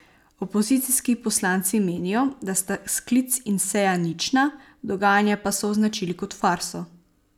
Opozicijski poslanci menijo, da sta sklic in seja nična, dogajanje pa so označili kot farso.